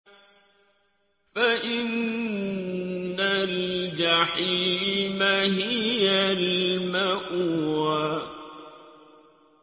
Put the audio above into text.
فَإِنَّ الْجَحِيمَ هِيَ الْمَأْوَىٰ